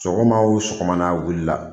Sɔgɔma o sɔgɔma n'a wulila